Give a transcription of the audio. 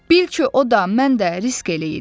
Bil ki, o da, mən də risk eləyirik.